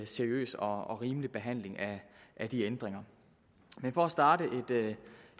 seriøs og rimelig behandling af de ændringer for at starte